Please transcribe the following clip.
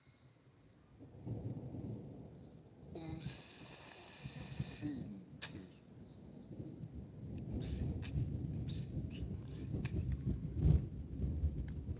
umsintsi